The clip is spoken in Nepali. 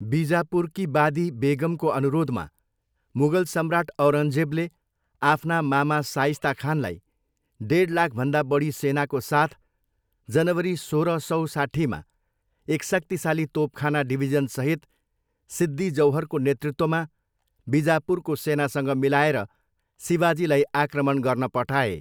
बिजापुरकी बादी बेगमको अनुरोधमा मुगल सम्राट औरङ्गजेबले आफ्ना मामा साइस्ता खानलाई डेड लाखभन्दा बढी सेनाको साथ जनवरी सोह्र सौ साट्ठीमा एक शक्तिशाली तोपखाना डिभिजनसहित सिद्दी जौहरको नेतृत्वमा बिजापुरको सेनासँग मिलाएर शिवाजीलाई आक्रमण गर्न पठाए।